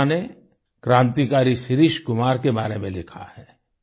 भावना ने क्रांतिकारी शिरीष कुमार के बारे में लिखा है